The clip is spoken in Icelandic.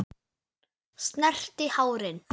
Snerti hárin.